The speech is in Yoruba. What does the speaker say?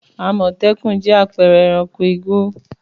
Àmọ̀tẹ́kùn jẹ́ àpẹẹrẹ ẹranko igbó.